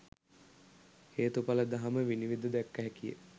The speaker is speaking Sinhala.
හේතු ඵල දහම විනිවිද දැක්ක හැකිය